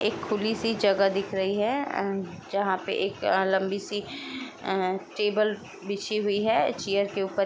एक खुली सी जगह दिख रही है उम जहां पे एक अ लंबी सी अ टेबल बिछी हुई है चेयर के ऊपर--